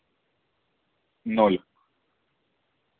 ноль